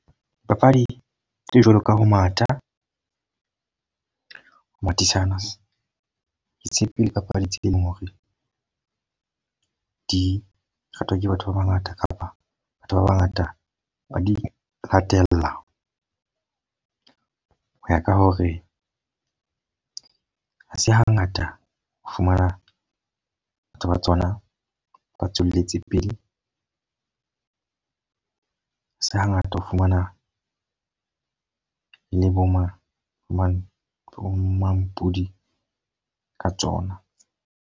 Dipapadi tse jwalo ka ho matha, ho mathisana ditshepe le dipapadi tse ding hore di ratwa ke batho ba bangata. Kapa batho ba bangata ba di latella. Ho ya ka hore ha se ha ngata o fumana batho ba tsona ba tsona ba tswelletse pele. Ha se ha ngata ho fumana le bo mang mang mampudi ka tsona.